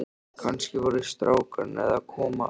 Kannski voru strákarnir að koma aftur.